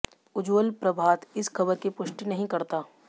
उज्ज्वल प्रभात इस खबर की पुष्टि नहीं करता